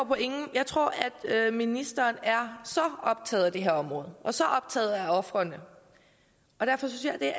jeg tror at ministeren er så optaget af det her område og så optaget af ofrene og derfor synes jeg